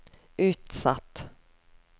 utsatt